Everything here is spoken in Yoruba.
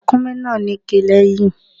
Ràkúnmí náà níké lẹ́yìn.